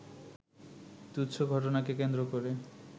তুচ্ছ ঘটনাকে কেন্দ্র করে